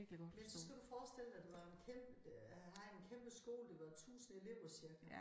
Men så skal du forestille dig det var jo en øh var en kæmpe skole der var jo 1000 elever cirka